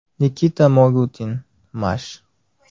Nikita Mogutin, Mash.